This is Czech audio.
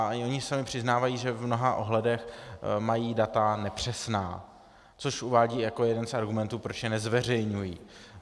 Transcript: A i oni sami přiznávají, že v mnoha ohledech mají data nepřesná, což uvádějí jako jeden z argumentů, proč je nezveřejňují.